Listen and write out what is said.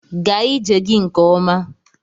Gaa ije gị nke ọma!